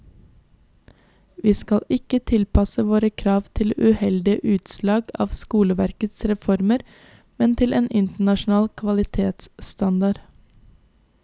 Vi skal ikke tilpasse våre krav til uheldige utslag av skoleverkets reformer, men til en internasjonal kvalitetsstandard.